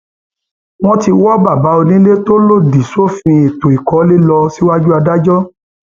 wọn ti wọ bàbá onílé tó lòdì sófin ètò ìkọlé lọ síwájú adájọ